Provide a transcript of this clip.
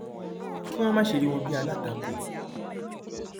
kí wọn má ṣe rí wọn bíi alátakò